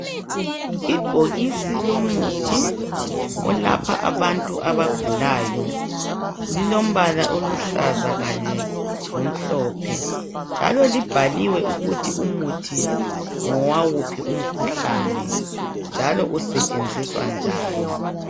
Ibhokisi lomuthi olapha abantu abagulayo lilombala oluhlaza kanye lomhlophe. Njalo libhaliwe ukuthi umuthi ngowawuphi umkhuhlane. Njalo lisentshenziswa njani.